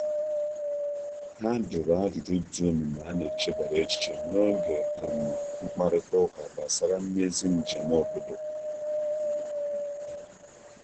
Ha jụrụ ajụjụ dị omimi a n'echebara echiche n’oge um mkparịta ụka gbasara mmezi njem obodo.